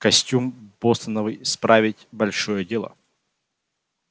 костюм бостоновый справить большое дело